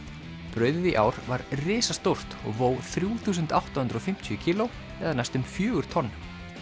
brauðið í ár var risastórt og vó þrjú þúsund átta hundruð og fimmtíu kíló eða næstum fjögur tonn